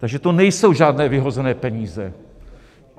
Takže to nejsou žádné vyhozené peníze.